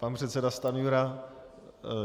Pan předseda Stanjura.